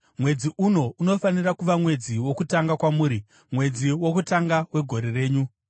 “Mwedzi uno unofanira kuva mwedzi wokutanga kwamuri, mwedzi wokutanga wegore renyu.